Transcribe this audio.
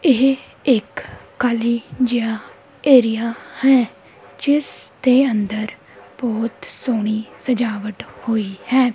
ਇਹ ਇੱਕ ਖਾਲੀ ਜਿਹਾ ਏਰੀਆ ਹੈ ਜਿਸ ਦੇ ਅੰਦਰ ਬਹੁਤ ਸੋਹਣੀ ਸਜਾਵਟ ਹੋਈ ਹੈ।